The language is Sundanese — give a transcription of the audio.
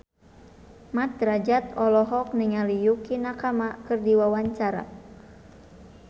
Mat Drajat olohok ningali Yukie Nakama keur diwawancara